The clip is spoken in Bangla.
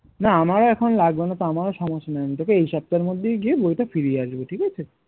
না আমারও এখন লাগবে না তো আমারও সমস্যা নেই আমি তোকে এই সপ্তাহের মধ্যেই গিয়ে বইটা ফিরিয়ে আসবো ঠিক আছে